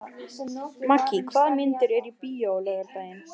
Maggý, hvaða myndir eru í bíó á laugardaginn?